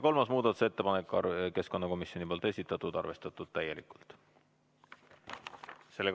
Kolmas muudatusettepanek, keskkonnakomisjoni esitatud, arvestatud täielikult.